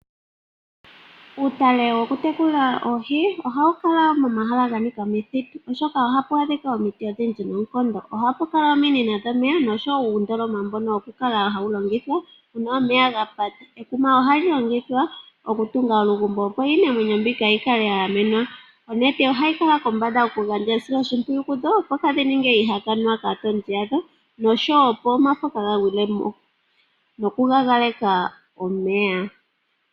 Uutale wokutekulila oohi ohawu kala momahala ga nika omithitu, oshoka ohapu adhika omiti odhindji noonkondo. Ohapu kala ominino dhomeya noshowo uundoloma mboka wokulongithwa uuna omeya ga pata. Ekuma ohali longithwa okutunga olugumbo, opo iinamwenyo mbika yi kale ya gamenwa. Onete ohayi kala kombanda okugandja esiloshimpwiyu koohi, opo kaadhi ninge iihakanwa kaatondi yadho noshowo, opo omafo kaaa ga gwile mo nokukakeka omeya.